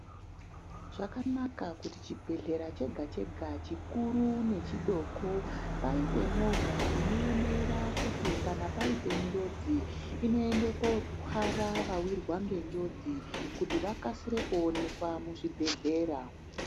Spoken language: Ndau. Zvakanaka kuti chibhehleya chega chega chikuru nechidoko paite movha inoemera kuti kana paite njodzi inoende kotwara aiwirwa ngenjodzi kuti vakasire kuonekwa muzvibhehlera.